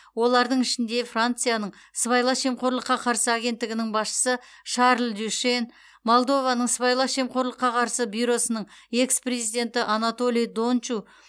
олардың ішінде францияның сыбайлас жемқорлыққа қарсы агенттігінің басшысы шарль дюшен молдованың сыбайлас жемқорлыққа қарсы бюросының экс президенті анатолий дончу